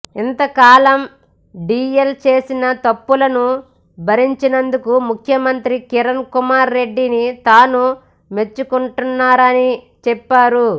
ఇంతకాలం డిఎల్ చేసిన తప్పులను భరించినందుకు ముఖ్యమంత్రి కిరణ్ కుమార్ రెడ్డిని తాను మెచ్చుకుంటున్నానని చెప్పారు